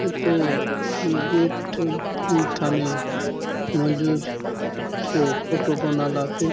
हुंथो हुन गेट हुन थाने मंझूर चो फोटो बनालासे।